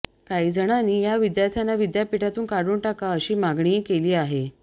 काही जणांनी या विद्यार्थ्यांना विद्यापीठातून काढून टाका अशी मागणीही केली आहे